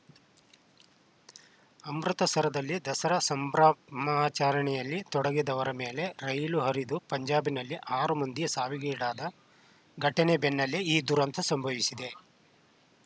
ಅಮೃತಸರದಲ್ಲಿ ದಸರಾ ಸಂಭ್ರ ಮಾಚರಣೆಯಲ್ಲಿ ತೊಡಗಿದ್ದವರ ಮೇಲೆ ರೈಲು ಹರಿದು ಪಂಜಾಬ್‌ನಲ್ಲಿ ಆರು ಮಂದಿ ಸಾವಿಗೀಡಾದ ಘಟನೆ ಬೆನ್ನಲ್ಲೇ ಈ ದುರಂತ ಸಂಭವಿಸಿದೆ